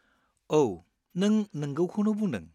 औ, नों नोंगौखौनो बुंदों।